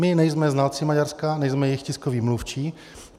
My nejsme znalci Maďarska, nejsme jejich tiskoví mluvčí.